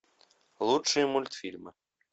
лучшие мультфильмы